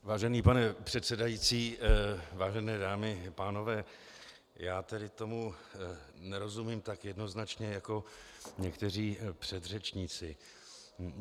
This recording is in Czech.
Vážený pane předsedající, vážené dámy a pánové, já tedy tomu nerozumím tak jednoznačně jako někteří předřečníci.